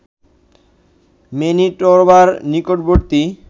ম্যানিটোবার নিকটবর্তী